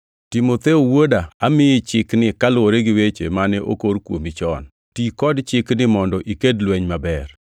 Timotheo wuoda, amiyi Chikni kaluwore gi weche mane okor kuomi chon. Ti kod chikni mondo iked lweny maber,